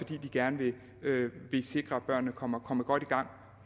gerne vil sikre at børnene kommer kommer godt i gang